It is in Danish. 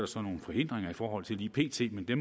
så nogle forhindringer i forhold til lige pt men det